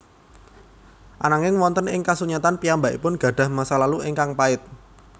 Ananging wonten ing kasunyatan piyambakipun gadah masa lalu ingkang pait